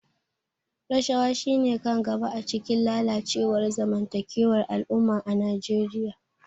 Rashawa shine kan gaba a cikin lalacewar zamantakewar al'umma a Najeriya.